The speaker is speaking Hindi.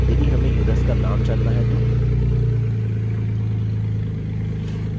यदि हमें युसर्स का names जानना है तो